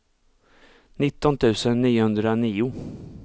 nitton tusen niohundranio